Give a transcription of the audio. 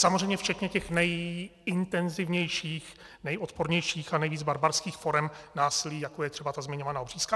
Samozřejmě včetně těch nejintenzivnějších, nejodpornějších a nejvíc barbarských forem násilí, jako je třeba ta zmiňovaná obřízka.